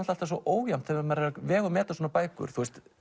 svo ójafnt þegar maður er að vega og meta svona bækur